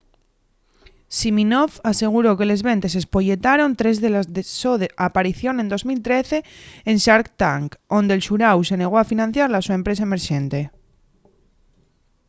siminoff aseguró que les ventes espolletaron tres de la so aparición en 2013 en shark tank onde’l xuráu se negó a financiar la so empresa emerxente